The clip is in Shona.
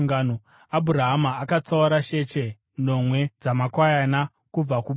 Abhurahama akatsaura sheche nomwe dzamakwayana kubva kuboka,